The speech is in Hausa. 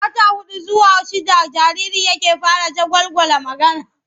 A wata huɗu zuwa shidda jariri yake fara jagwalgwala magana.